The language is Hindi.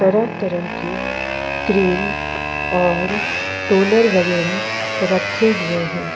तरह-तरह के क्रीम और टोनर वगैरा रखे हुए हैं।